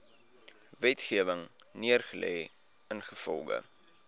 wetgewing neergelê ingevolge